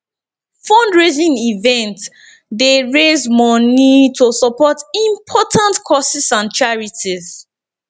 fundraising events dey raise moni to support important causes and charities